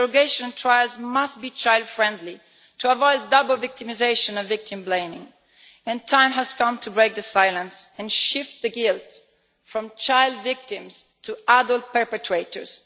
Interrogation trials must be child friendly to avoid double victimisation and victim blaming. The time has come to break the silence and shift the guilt from child victims to adult perpetrators.